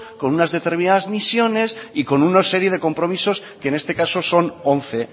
con una determinadas misiones y con una serie de compromisos que en este caso son once